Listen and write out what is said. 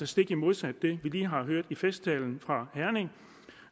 stik modsat det vi lige har hørt i festtalen fra herning